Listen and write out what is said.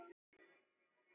Raggi hlær að þessu.